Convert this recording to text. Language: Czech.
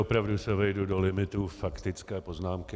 Opravdu se vejdu do limitu faktické poznámky.